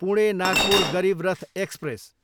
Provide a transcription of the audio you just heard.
Pune, Nagpur Garib Rath express